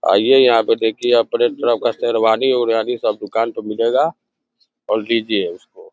आइये यहाँ पे देखिए अपने तरह का शेरवानी ओरवानी सब दुकान पे मिलेगा और लीजिये उसको।